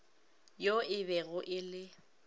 yo e bego e le